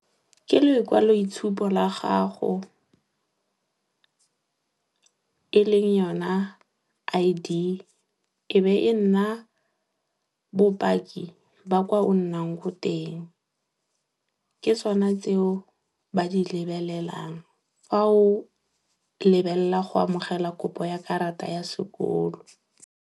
Ke lekwaloitshupo la gago e leng yona I_D, e be e nna bopaki ba kwa o nnang ko teng. Ke tsone tseo ba di lebelelang fa o lebelela go amogela kopo ya karata ya sekolo.